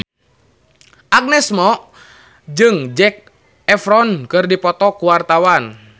Agnes Mo jeung Zac Efron keur dipoto ku wartawan